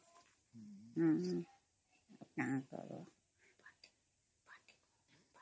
noise